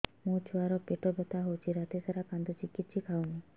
ମୋ ଛୁଆ ର ପେଟ ବଥା ହଉଚି ରାତିସାରା କାନ୍ଦୁଚି କିଛି ଖାଉନି